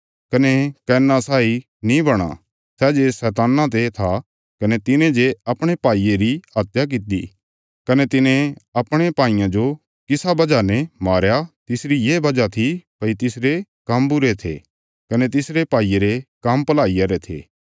कने आदम रे पुत्र कैना साई नीं बणा सै जे शैतान्ना ते था कने तिने जे अपणे भाईये री हत्या कित्ती कने तिने अपणे भाईये जो किसा वजह ने मारया तिसरी ये वजह थी भई तिसरे काम्म बुरे थे कने तिसरे भाईये रे काम्म भलाईया रे थे